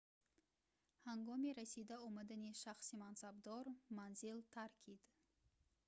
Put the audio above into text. ҳангоми расида омадани шахси мансабдор манзил таркид